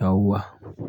yawuwa,